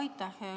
Aitäh!